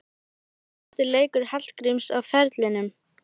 Var þetta besti leikur Hallgríms á ferlinum?